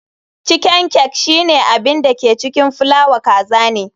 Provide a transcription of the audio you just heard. Chiken cake shine abin da ke cikin fulawa kaza ne.